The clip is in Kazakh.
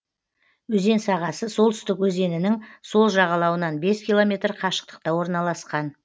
өзен сағасы солтүстік өзенінің сол жағалауынан бес километр қашықтықта орналасқан